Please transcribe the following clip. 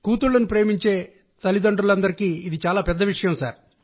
కూతుళ్లను ప్రేమించే తండ్రులకు ఇది పెద్ద విషయం